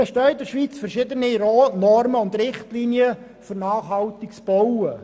In der Schweiz bestehen verschiedene Normen und Richtlinien für nachhaltiges Bauen.